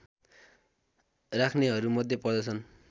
राख्नेहरूमध्ये पर्दछन्